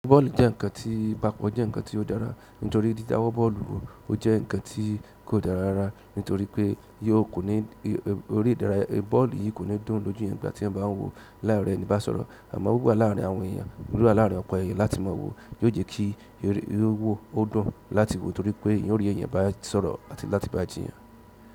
Bọ́ọ̀lù jẹ́ nǹkan tí, bákan jẹ́ nǹkan tí ó dára, nítorí ìdí dáwọ́ bọ́ọ̀lù wò ó jẹ́ nǹkan tí kò dára rárá, nítorí pé yó ò ní, orí ìdárayá bọ́ọ̀lù yìí kò ní dùn lójú yẹn ìgbà tí ẹ́ bá ń wò láì rẹ́ni bá sọ̀rọ̀. Àmọ́ wíwà láàárín àwọn èèyàn, wíwà láàárín ọ̀pọ̀ èèyàn láti mọ̀ wò yóò jẹ́ kí iré wò ó dùn láti wò torí pé irú èèyàn bá sọ̀rọ̀ àti láti bá jiyàn.